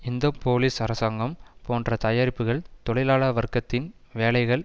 இந்த போலீஸ் அரசாங்கம் போன்ற தயாரிப்புக்கள் தொழிலாள வர்க்கத்தின் வேலைகள்